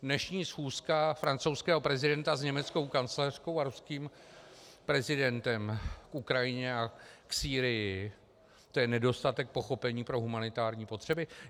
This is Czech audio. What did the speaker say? Dnešní schůzka francouzského prezidenta s německou kancléřkou a ruským prezidentem k Ukrajině a k Sýrii, to je nedostatek pochopení pro humanitární potřeby?